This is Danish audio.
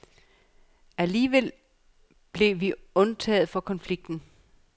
Alligevel blev vi undtaget fra konflikten.